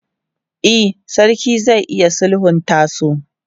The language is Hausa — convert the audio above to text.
E, sarki zai iya sulhunta su.